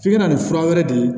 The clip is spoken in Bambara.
F'i ka na nin fura wɛrɛ de